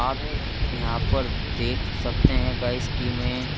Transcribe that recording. आप यहां पर देख सकते हैं गाइस कि मैं--